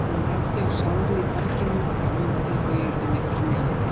Hún benti á sárið í berginu og grjótið á jörðinni fyrir neðan.